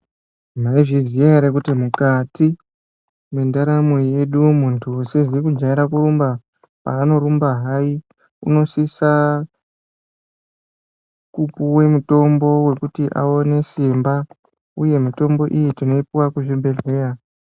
Mwaizviziya ere kuti mukati mwendaramo yedu muntu usizi kujaire kurumba ,paanorumba hai unosisa kupuwe mutombo wekuti awone simba uye mitombo iyi tinoipuwa kuzvibhehleya.